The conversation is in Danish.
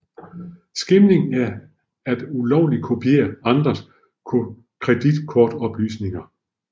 Skimming er at ulovligt kopiere andres kreditkortoplysninger